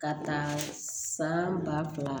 Ka taa san ba fila